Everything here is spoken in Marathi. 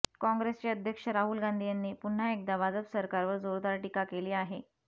काँग्रेसचे अध्यक्ष राहुल गांधी यांनी पुन्हा एकदा भाजप सरकारवर जोरदार टीका केली आहे